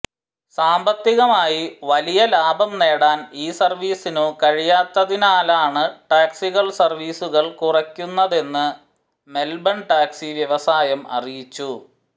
സാമ്പത്തികമായി വലിയ ലാഭം നേടാൻ ഈ സർവ്വീസിനു കഴിയാത്തതിനാലാണ് ടാക്സികൾ സർവ്വീസുകൾ കുറയ്ക്കുന്നതെന്ന് മെൽബൺ ടാക്സി വ്യവസായം അറിയിച്ചു